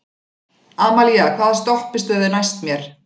Amalía, hvaða stoppistöð er næst mér?